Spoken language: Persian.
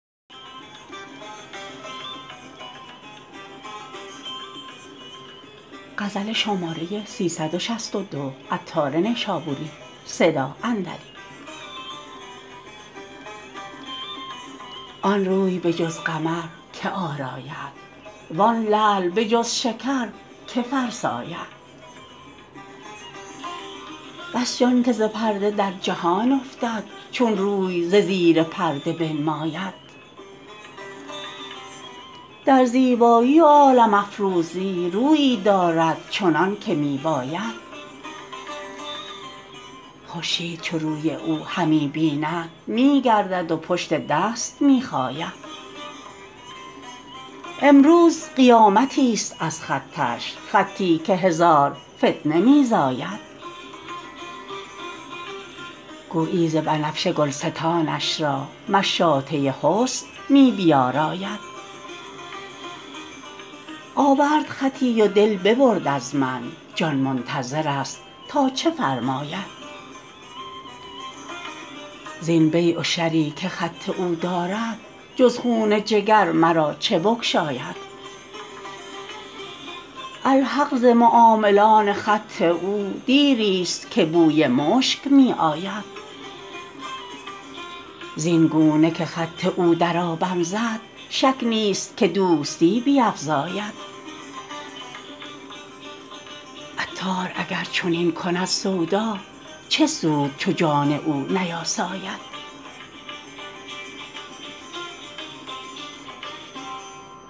آن روی به جز قمر که آراید وان لعل به جز شکر که فرساید بس جان که ز پرده در جهان افتد چون روی ز زیر پرده بنماید در زیبایی و عالم افروزی رویی دارد چنان که می باید خورشید چو روی او همی بیند می گردد و پشت دست می خاید امروز قیامتی است از خطش خطی که هزار فتنه می زاید گویی ز بنفشه گلستانش را مشاطه حسن می بیاراید آورد خطی و دل ببرد از من جان منتظر است تا چه فرماید زین بیع و شری که خط او دارد جز خون جگر مرا چه بگشاید الحق ز معاملان خط او دیری است که بوی مشک می آید زین گونه که خط او درآبم زد شک نیست که دوستی بیفزاید عطار اگر چنین کند سودا چه سود چو جان او نیاساید